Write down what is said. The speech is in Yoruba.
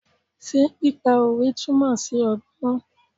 Ṣé pípa òwe túmọ̀ sí ọgbọ́n?